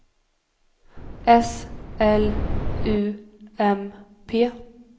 S L U M P